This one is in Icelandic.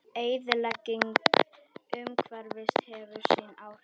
Eyðilegging umhverfisins hefur sín áhrif.